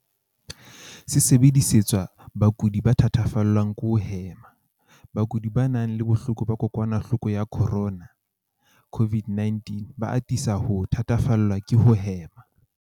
Se sebedisetswa bakudi ba thatafallwang ke ho hema. Bakudi ba nang le bohloko ba kokwanahloko ya corona, CO-VID-19, ba atisa ho thatafallwa ke ho hema.